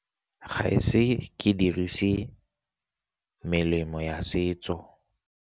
Ga e se ke dirise melemo ya setso.